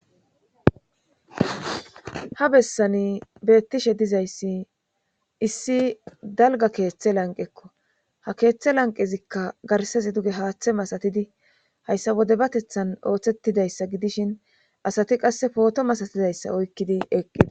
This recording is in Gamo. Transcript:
ha bessani beettishe dizayssi issi dalga keeththe lanqekko ha keeththe lanqezikka garsasi duge haaththe masatidi hayssa wode batethan ooththettidayssa gidishin asati qasse pooto masatizayssa oykkidi eqqidi